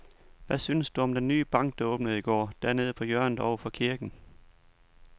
Hvad synes du om den nye bank, der åbnede i går dernede på hjørnet over for kirken?